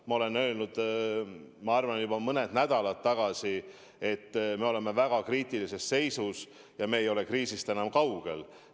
Ma olen öelnud juba mõned nädalad tagasi, et me oleme väga kriitilises seisus, me ei ole kriisist enam kaugel.